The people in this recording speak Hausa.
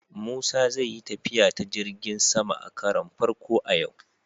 Musa zai yi tafiya ta jirgin sama a karon farko a yau.